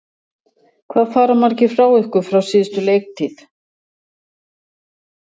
Hvað fara margir frá ykkur frá síðustu leiktíð?